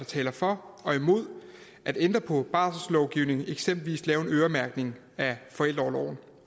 taler for og imod at ændre på barselslovgivningen og eksempelvis lave en øremærkning af forældreorloven